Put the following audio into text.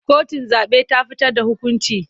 Kotun zaɓe ta fitar da hukunci.